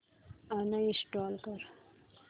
uninstall कर